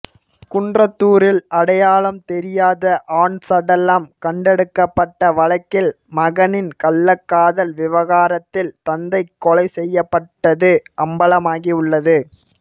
குன்றத்தூரில் அடையாளம் தெரியாத ஆண் சடலம் கண்டெடுக்கப்பட்ட வழக்கில் மகனின் கள்ளக்காதல் விவகாரத்தில் தந்தை கொலை செய்யப்பட்டது அம்பலமாகி உள்ளது